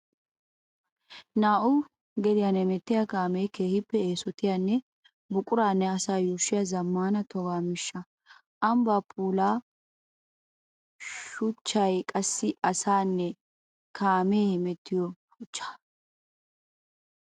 Naa'u gediyan hemettiya kaame keehippe eesottiyanne buquranne asaa yuushshiya zamaana toga miishsha. Ambba puula shuchchay qassi asaynne kaame hemettiyo shuchcha.